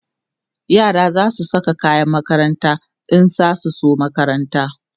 yara zasu Saka kayan makaranta in zasu zo makaranta